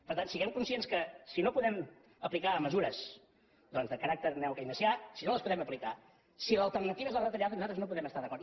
per tant siguem conscients que si no podem aplicar mesures doncs de caràcter neokeynesià si no les podem aplicar si l’alternativa és la retallada nosaltres no hi podem estar d’acord